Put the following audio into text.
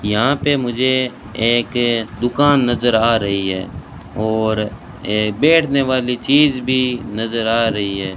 यहाँ पे मुझे एक दुकान नज़र आ रही है और ये बैठने वाले चीज़ भी नज़र आ रही है।